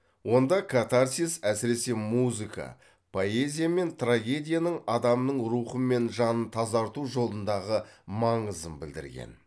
онда катарсис әсіресе музыка поэзия мен трагедияның адамның рухы мен жанын тазарту жолындағы маңызын білдірген